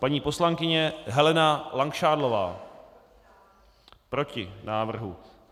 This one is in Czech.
Paní poslankyně Helena Langšádlová: Proti návrhu.